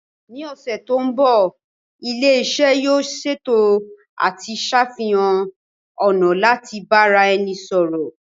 Ní ọ̀sẹ̀ tó ń bọ̀, ilé iṣẹ́ yóò ṣètò àti ṣàfihàn ọ̀nà láti bára ẹni sọ̀rọ̀